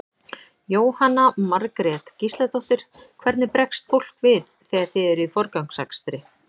Jóhanna Margrét Gísladóttir: Hvernig bregst fólk við þegar þið eruð í forgangsakstri?